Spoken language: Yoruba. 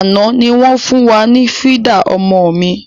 Àná ni wọn fun wá ní fídà ọmọ mi.